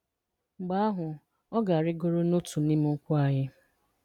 Mgbe ahụ, ọ ga-arịgoro n'otu n'ime ụkwụ anyị.